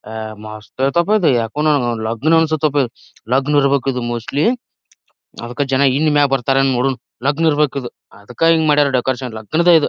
ಅಹ್ ಮಸ್ತ್ ಅಯ್ತಾಪ ಇದು ಯಕುನು ಲಾಗಿನ್ ಅನಸ್ತಥಾಪ ಇದು ಲಗ್ನ್ ಇರ್ಬೇಕಿದು ಮೋಸ್ಟ್ಲಿ ಅದಕ್ಕ ಜನ ಇನ್ ಮ್ಯಾಗ್ ಬರ್ತಾರ ಯೆನ್ ನೋಡುನ್ ಲಗ್ನ್ ಇರ್ಬೇಕಿದು. ಅದಕ ಹಿಂಗ್ ಮಾಡ್ಯಾರ್ ಡೆಕೋರೇಷನ್ ಲಗ್ನದ ಇದ್.